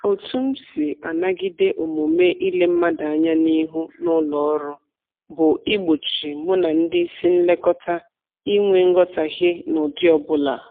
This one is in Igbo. Otu m si anagide omume ile mmadụ anya n'ihu n'ụlọ ọrụ bụ igbochi mụ na ndị isi nlekọta inwe nghọtahie n'ụdị ọbụla